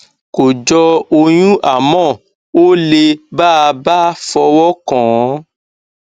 kò jọ ọyún àmọ ó le bá a bá fọwọ kàn án